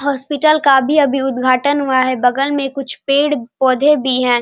Hospital का भी अभी उद्घाटन हुआ है बगल में कूछ पेड़ पौधे भी है।